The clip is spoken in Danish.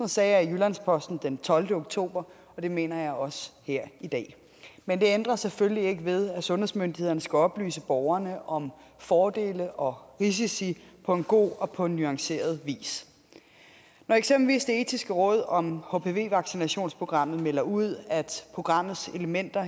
sagde jeg i jyllands posten den tolvte oktober og det mener jeg også her i dag men det ændrer selvfølgelig ikke ved at sundhedsmyndighederne skal oplyse borgerne om fordele og risici på en god og nuanceret vis når eksempelvis det etiske råd om hpv vaccinationsprogrammet melder ud at programmets elementer